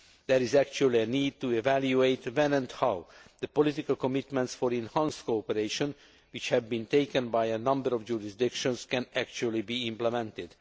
There is actually a need to evaluate when and how the political commitments for enhanced cooperation, which have been taken by a number of jurisdictions, can actually be implemented.